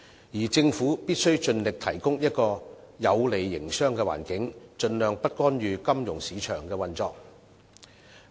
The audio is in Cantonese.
至於政府則必須盡力提供一個有利營商的環境，盡量不干預金融市場的運作。